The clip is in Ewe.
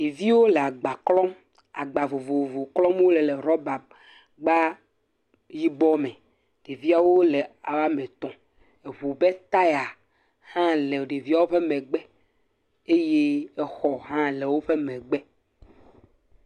ɖeviwo le agba klɔm agba vovovo klɔm wóle le rɔba gba yibɔ me ɖeviawo le woametɔ̃ eʋu ƒe taya hã le ɖeviawo ƒe megbe eye exɔ hã le wóƒe megbe